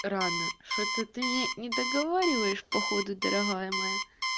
рано что-то ты недоговариваешь походу дорогая моя